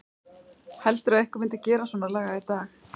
Heldurðu að einhver myndi gera svonalagað í dag?